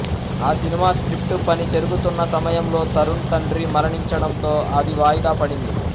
ఆ cinema script పని జరుగుతున్న సమయంలో తరుణ్ తండ్రి మరణించడంతో అది వాయిదా పడింది